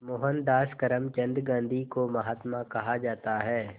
मोहनदास करमचंद गांधी को महात्मा कहा जाता है